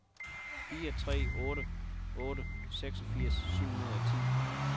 fire tre otte otte seksogfirs syv hundrede og ti